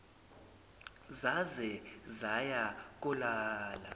zaze zaya kolala